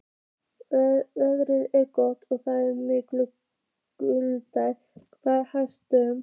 Veðrið var gott og það glumdu við hamarshögg.